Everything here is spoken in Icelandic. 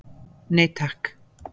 Nei takk.